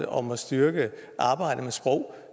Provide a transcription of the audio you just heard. om at styrke arbejdet med sprog